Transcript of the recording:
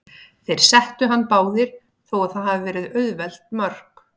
Þeir settu hann báðir, þó að það hafi verið auðveld mörk.